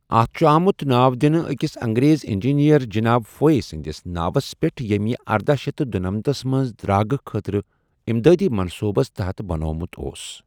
اتھ چھُ آمُت ناو دِنہٕ أکِس انگریز انجینئر جناب فوئے سنٛدِس ناوس پٮ۪ٹھ ییٚمۍ یہِ ارداہ شیٚتھ تہٕ دُنمَتس منٛز درٚاگہٕ خٲطرٕ اِمدٲدی منصوبس تحت بنومُت اوس۔